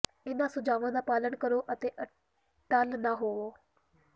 ਇਹਨਾਂ ਸੁਝਾਵਾਂ ਦਾ ਪਾਲਣ ਕਰੋ ਅਤੇ ਅਟੱਲ ਨਾ ਹੋਵੋ